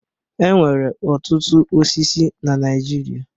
E nwere ọtụtụ osisi na Naijiria.